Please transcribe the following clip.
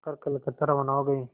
कर कलकत्ता रवाना हो गए